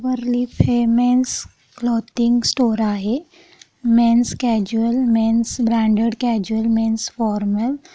'' Silverleaf women's clothing store आहै men's casual men's branded casual men's formal --''